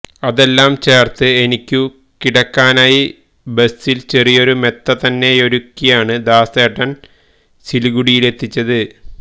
അതെല്ലാം ചേർത്ത് എനിക്കു കിടക്കാനായി ബസിൽ ചെറിയൊരു മെത്ത തന്നെയൊരുക്കിയാണ് ദാസേട്ടൻ സിലിഗുഡിയിലെത്തിച്ചത്